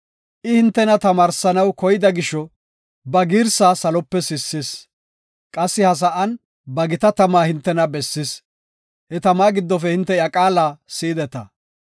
I hintena tamaarsanaw koyida gisho, ba girsaa salope sissis. Qassi ha sa7an ba gita tama hintena bessis; he tama giddofe hinte iya qaala si7ideta.